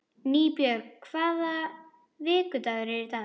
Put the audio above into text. Nýbjörg, hvaða vikudagur er í dag?